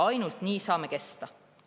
Ainult nii saame kesta.